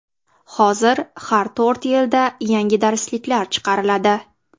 Hozir har to‘rt yilda yangi darsliklar chiqariladi.